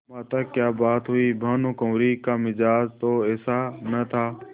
माताक्या बात हुई भानुकुँवरि का मिजाज तो ऐसा न था